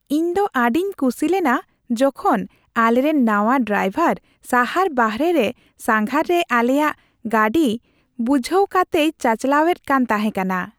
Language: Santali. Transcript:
ᱤᱧ ᱫᱚ ᱟᱹᱰᱤᱧ ᱠᱩᱥᱤᱞᱮᱱᱟ ᱡᱚᱠᱷᱚᱱ ᱟᱞᱮᱨᱮᱱ ᱱᱟᱶᱟ ᱰᱨᱟᱭᱵᱷᱟᱨ ᱥᱟᱦᱟᱨ ᱵᱟᱨᱦᱮ ᱨᱮ ᱥᱟᱸᱜᱷᱟᱨ ᱨᱮ ᱟᱞᱮᱭᱟᱜ ᱜᱟᱹᱰᱤ ᱵᱩᱡᱷᱦᱟᱹᱣ ᱠᱟᱛᱮᱭ ᱪᱟᱪᱟᱞᱟᱣᱮᱫ ᱠᱟᱱ ᱛᱟᱦᱮᱠᱟᱱᱟ ᱾